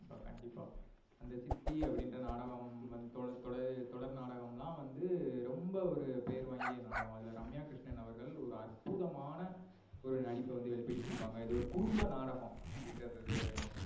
கண்டிப்பா கண்டிப்பா. அந்த சித்தினுற நாடகம் தொடர் தொடர் நாடகம்லாம் வந்து ரொம்ப வந்து பெயர் வாங்கிய நாடகம். அதுல ரம்யா கிருஷ்ணன் அவர்கள் ஒரு அற்புதமான ஒரு நடிப்பை வந்து வெளிபடுத்தி இருபங்க. இது ஒரு குடும்ப நாடகம். அப்டினுறது நமக்கு